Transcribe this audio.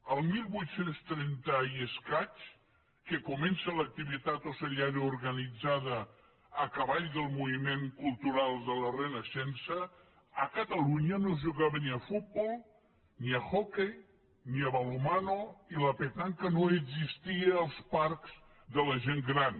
el divuit trenta i escaig que comença l’activitat ocellaire organitzada a cavall del moviment cultural de la renaixença a catalunya no es jugava ni a futbol ni a hoquei ni a balonmanoparcs de la gent gran